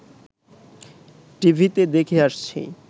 টিভিতে দেখে আসছি